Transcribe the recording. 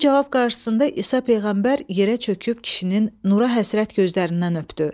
Bu cavab qarşısında İsa peyğəmbər yerə çöküb kişinin nura həsrət gözlərindən öpdü.